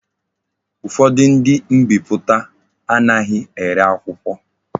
Ufodu ndi mbiputa anaghi ere akwukwo.